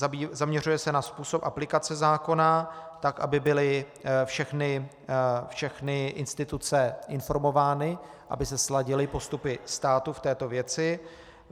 Zaměřuje se na způsob aplikace zákona tak, aby byly všechny instituce informovány, aby se sladily postupy státu v této věci.